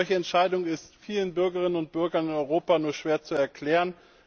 Eine solche Entscheidung ist vielen Bürgerinnen und Bürgern in Europa nur schwer zu erklären.